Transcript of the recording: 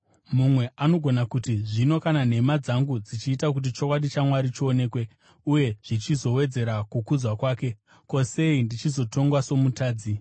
Mumwe anogona kuti, “Zvino kana nhema dzangu dzichiita kuti chokwadi chaMwari chionekwe uye zvichizowedzera kukudzwa kwake, ko, sei ndichizotongwa somutadzi?”